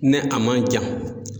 Ni a man jan.